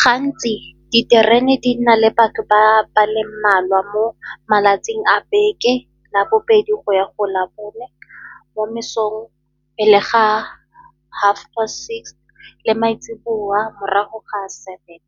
Gantsi diterene di na le batho ba ba le mmalwa mo malatsing a beke labobedi go ya go la bone, mo mesong e le ga half past six le maitseobowa morago ga seven.